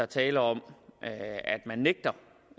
tale om at man nægter